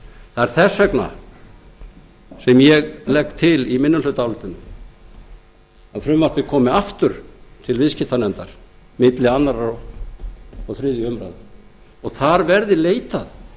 það er þess vegna sem ég legg til í minnihlutaálitinu að frumvarpið komi aftur til viðskiptanefndar milli annars og þriðju umræðu og þar verði leitað